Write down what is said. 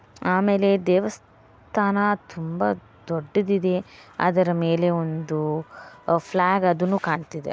ಆಮೇಲೆ ದೇವಸ್ಥಾನ ತುಂಬಾ ದೊಡ್ಡದಾಗಿದೆ ಮತ್ತು ಅದರ ಮೇಲೆ ಒಂದು ಫ್ಲಾಗ್ ಅದುನು ಕಾಣತ್ತಿದೆ.